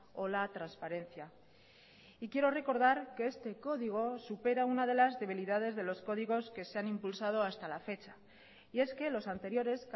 o la transparencia y quiero recordar que este código supera una de las debilidades de los códigos que se han impulsado hasta la fecha y es que los anteriores